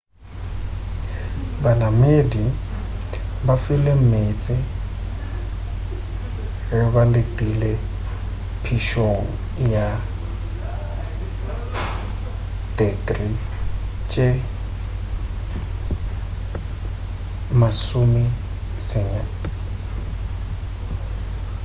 banamedi ba filwe meetse ge ba letile phišong ya tekrii tše-90f